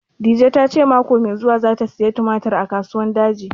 Dije ta ce mako mai zuwa za ta saya tumatir a Kasuwan Daji